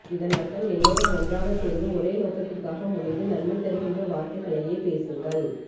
இதன் அர்த்தம் எல்லோரும் ஒன்றாகக் சேர்ந்து ஒரே நோக்கத்திற்காக முனைந்து நன்மை தருகின்ற வார்த்தைகளையே பேசுங்கள்